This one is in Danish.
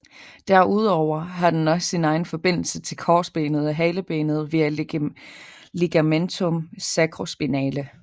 Derudover har den også sin egen forbindelse til korsbenet og halebenet via ligamentum sacrospinale